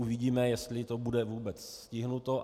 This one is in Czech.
Uvidíme, jestli to bude vůbec stiženo.